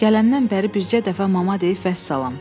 Gələndən bəri bircə dəfə mama deyib vəssalam.